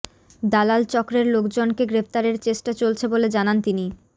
দালাল চক্রের লোকজনকে গ্রেফতারের চেষ্টা চলছে বলে জানান তিনি